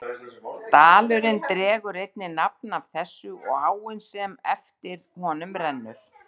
Dalurinn dregur einnig nafn af þessu og áin sem eftir honum rennur.